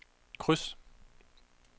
kryds